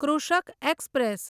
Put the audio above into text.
Krishak express